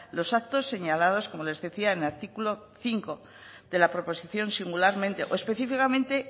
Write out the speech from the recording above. los actos señalados como les decía en el artículo cinco de la proposición de singularmente o específicamente